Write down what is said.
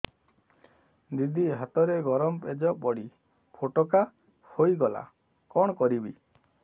ଦିଦି ହାତରେ ଗରମ ପେଜ ପଡି ଫୋଟକା ହୋଇଗଲା କଣ କରିବି